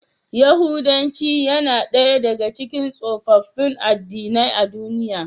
Yahudanci yana daya daga cikin tsofaffin addinai a duniya.